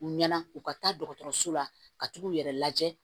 U ɲɛna u ka taa dɔgɔtɔrɔso la ka tugu u yɛrɛ lajɛ